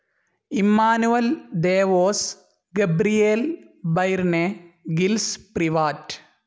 Emmanuel Devos, Gabriel Byrne, Gilles Privat